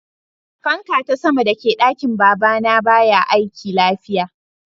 Fanka ta sama da ke dakin baba na baya aiki lafiya.